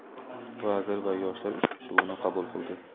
vazir va yoshlar uchrashuvini qabul qildi.